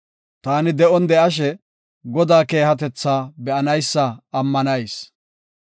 Taani de7on de7ashe, Godaa keehatetha be7anaysa ammanayis.